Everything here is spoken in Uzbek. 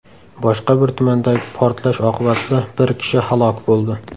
Boshqa bir tumandagi portlash oqibatida bir kishi halok bo‘ldi.